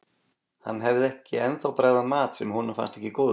Hann hefði ekki ennþá bragðað mat sem honum fannst ekki góður.